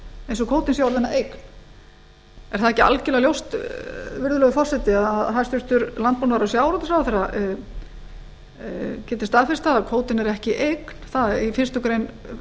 eins og kvótinn sé orðinn að eign er það ekki algjörlega ljóst virðulegur forseti að hæstvirtur landbúnaðar og sjávarútvegsráðherra getur staðfest það að kvótinn er ekki eign í fyrstu grein